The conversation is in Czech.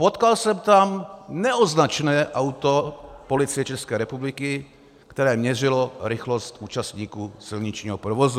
Potkal jsem tam neoznačené auto Policie České republiky, které měřilo rychlost účastníků silničního provozu.